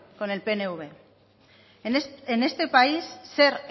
con el pnv en este país ser